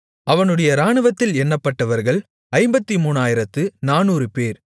அவனுடைய இராணுவத்தில் எண்ணப்பட்டவர்கள் 53400 பேர்